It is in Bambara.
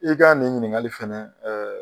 I ka nin ɲininkali fana ɛɛ